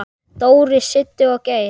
Dóri, Siddi og Geir.